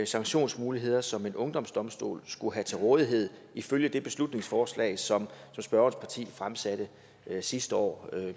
sanktionsmuligheder som en ungdomsdomstol skulle have til rådighed ifølge det beslutningsforslag som spørgerens parti fremsatte sidste år